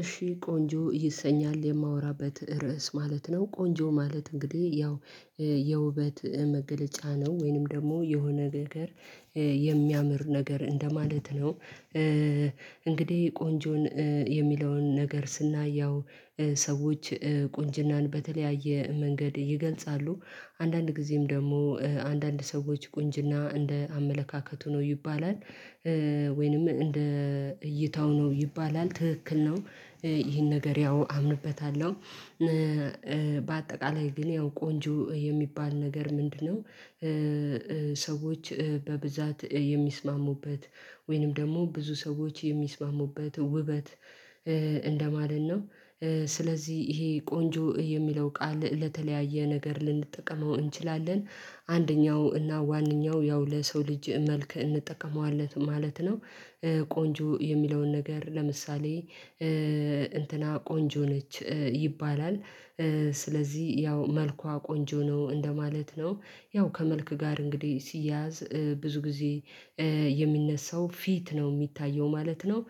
እሺ ቆንጆ ይሰኛል የማወራበት ርዕስ ማለት ነው ቆንጆ ማለት እንግዲህ ያው የውበት መገለጫ ነው ወይንም ደግሞ የሆነ ነገር የሚያምር ነገር እንደማለት ነው። እንግዲህ ቆንጆን የሚለውን ነገር ስናየው ሰዎች ቁንጅናን በተለያየ መንገድ ይገልጻሉ አንዳንድ ጊዜም ደግሞ አንዳንድ ሰዎች ቁንጅና እንደ አመለካከቱ ነው ይባላል። ወይንም እንደ እይታው ነው ይባላል ትክክል ነው። ይሄን ነገር ያው አምንበታለሁ። በአጠቃላይ ግን ያው ቆንጆ የሚባል ነገር ምንድነው? ሰዎች በብዛት የሚስማሙበት ወይንም ደግሞ ብዙ ሰዎች የሚስማሙበት ውበት እንደማለት ነው። ስለዚህ ይሄ ቆንጆ የሚለው ቃል ለተለያየ ነገር ልንጠቀመው እንችላለን አንደኛው እና ዋነኛው ያው ለሰው ልጅ መልክ እንጠቀመዋለን ማለት ነው። ቆንጆ የሚለውን ነገር ለምሳሌ እንትና ቆንጆ ነች ይባላል። ስለዚህ ያው መልኳ ቆንጆ ነው እንደማለት ነው። ያው ከመልክ ጋር እንግዲህ ሲያያዝ ብዙ ጊዜ የሚነሳው ፊት ነው የሚታየው ማለት ነው።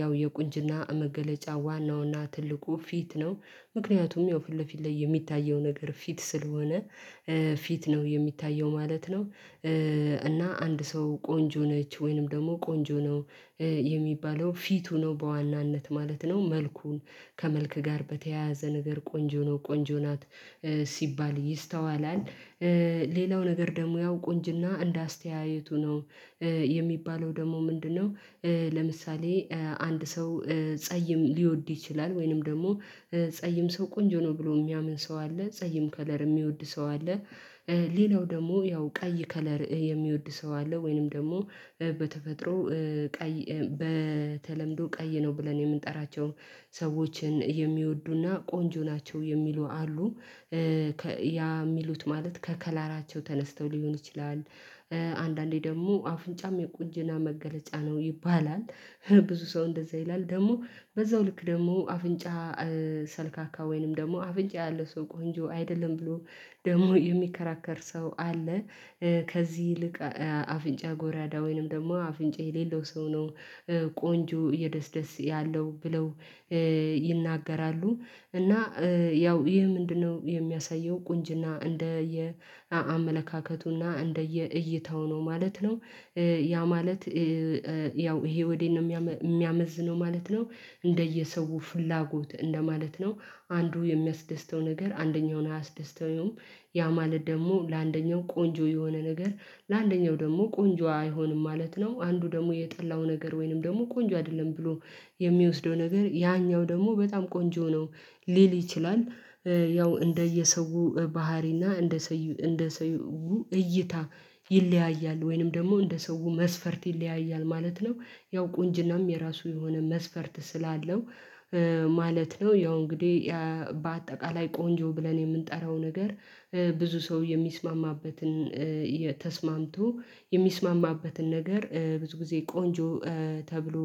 ያው የቁንጅና መገለጫ ዋናውና ትልቁ ፊት ነው። ምክንያቱም ያው ፊት ለፊት ላይ የሚታየው ነገር ፊት ስለሆነ ፊት ነው የሚታየው ማለት ነው። እና አንድ ሰው ቆንጆ ነች ወይንም ደግሞ ቆንጆ ነው። የሚባለው ፊቱ ነው በዋናነት ማለት ነው መልኩን ከመልክ ጋር በተያያዘ ነገር ቆንጆ ነው ቆንጆ ናት ሲባል ይስተዋላል። ሌላው ነገር ደግሞ ያው ቁንጅና እንደ አስተያየቱ ነው የሚባለው ደግሞ ምንድነው? ለምሳሌ አንድ ሰው ጸይም ሊወድ ይችላል ወይንም ደግሞ ጸይም ሰው ቆንጆ ነው ብሎ የሚያምን ሰው አለ ጸይም ከለር የሚወድ ሰው አለ። ሌላው ደግሞ ያው ቀይ ከለር የሚወድ ሰው አለ ወይንም ደግሞ በተፈጥሮ ቀይ በተለምዶ ቀይ ነው ብለን የምንጠራቸው ሰዎችን የሚወዱና ቆንጆ ናቸው የሚሉ አሉ። ያ ሚሉት ማለት ከከላራቸው ተነስተው ሊሆን ይችላል። አንዳንዴ ደግሞ አፍንጫም የቁጅና መገለጫ ነው ይባላል። ብዙ ሰው እንደዛ ይላል ደግሞ በዛው ልክ ደግሞ አፍንጫ ሰልካካ ወይንም ደግሞ አፍንጫ ያለ ሰው ቆንጆ አይደለም ብሎ ደግሞ የሚከራከር ሰው አለ። ከዚህ ይልቅ አፍንጫ ጎራዳ ወይንም ደግሞ አፍንጫ የሌለው ሰው ነው። ቆንጆ እየደስ ደስ ያለው ብለው ይናገራሉ። እና ያው ይሄ ምንድነው? የሚያሳየው ቁንጅና እንደ እንደየ አመለካከቱና እንደየ እይታው ነው ማለት ነው። ያ ማለት ያው ይሄ ወዴት ነው የሚያመዝነው ማለት ነው። እንደየሰው ፍላጎት እንደማለት ነው አንዱ የሚያስደስተው ነገር አንደኛውን አያስደስተውም። ያ ማለት ደግሞ ለአንደኛው ቆንጆ የሆነ ነገር ለአንደኛው ደግሞ ቆንጆ አይሆንም ማለት ነው። አንዱ ደግሞ የጠላው ነገር ወይንም ደግሞ ቆንጆ አይደለም ብሎ የሚወስደው ነገር ያኛው ደግሞ በጣም ቆንጆ ነው ሊል ይችላል። ያው እንደየሰው ባህሪና እንደ ሰው እንደ እይታ ይለያያል ወይንም ደግሞ እንደ ሰው መስፈርት ይለያያል ማለት ነው። ያው ቁንጅናም የራሱ የሆነ መስፈርት ስላለው ማለት ነው ያው እንግዲህ በአጠቃላይ ቆንጆ ብለን የምንጠራው ነገር ብዙ ሰው የሚስማማበትን ተስማምቶ የሚስማማበትን ነገር ብዙ ጊዜ ቆንጆ ተብሎ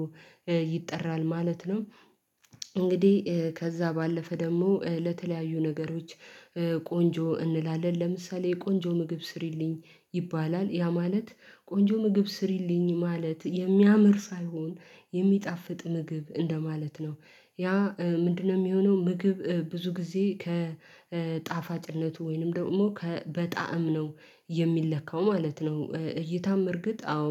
ይጠራል ማለት ነው። እንግዲህ ከዛ ባለፈ ደግሞ ለተለያዩ ነገሮች ቆንጆ እንላለን ለምሳሌ ቆንጆ ምግብ ስሪልኝ ይባላል ያ ማለት ቆንጆ ምግብ ስሪልኝ ማለት የሚያምር ሳይሆን የሚጣፍጥ ምግብ እንደማለት ነው። ያ ምንድነው? የሚሆነው ምግብ ብዙ ጊዜ ከጣፋጭነቱ ወይንም ደግሞ በጣዕም ነው የሚለካው ማለት ነው። እይታም እርግጥ አዎ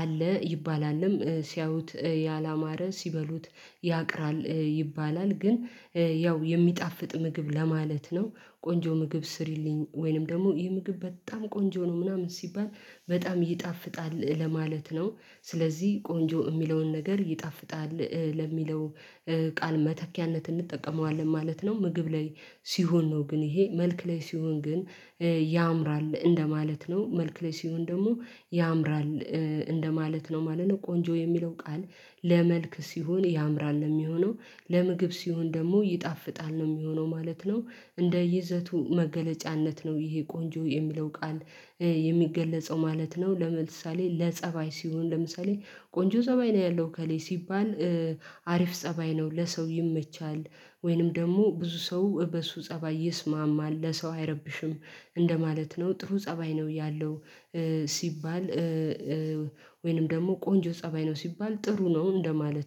አለ ይባላልም ሲያዩት ያላማረ ሲበሉት ያቅራል ይባላል። ግን ያው የሚጣፍጥ ምግብ ለማለት ነው ቆንጆ ምግብ ስሪልኝ ወይንም ደግሞ ይህ ምግብ በጣም ቆንጆ ነው ምናምን ሲባል በጣም ይጣፍጣል ለማለት ነው። ስለዚህ ቆንጆ ሚለውን ነገር ይጣፍጣል ለሚለው ቃል መተኪያነት እንጠቀመዋለን ማለት ነው። ምግብ ላይ ሲሆን ነው ግን ይሄ መልክ ላይ ሲሆን ግን። ያምራል እንደማለት ነው መልክ ላይ ሲሆን ደግሞ ያምራል። እንደማለት ነው ማለት ነው ቆንጆ የሚለው ቃል ለመልክ ሲሆን ያምራል ነው የሚሆነው ለምግብ ሲሆን ደግሞ ይጣፍጣል ነው ሚሆነው ማለት ነው። እንደ ይዘቱ መገለጫነት ነው ይሄ ቆንጆ የሚለው ቃል የሚገለጸው ማለት ነው። ለምሳሌ ለጸባይ ሲሆን ለምሳሌ ቆንጆ ፀባይ ነው ያለው እከሌ ሲባል አሪፍ ፀባይ ነው ለሰው ይመቻል። ወይንም ደግሞ ብዙ ሰው በሱ ፀባይ ይስማማል ለሰው አይረብሽም እንደማለት ነው ጥሩ ፀባይ ነው ያለው። ሲባል ወይንም ደግሞ ቆንጆ ፀባይ ነው ሲባል ጥሩ ነው እንደማለት